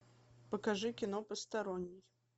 покажи кино посторонний